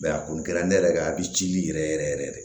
a kɔni kɛra ne yɛrɛ ka a bɛ cili yɛrɛ yɛrɛ yɛrɛ yɛrɛ de